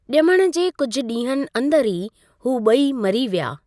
ॼमण जे कुझि ॾींहंनि अंदर ई हू ॿई मरी विया।